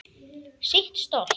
Sitt stolt.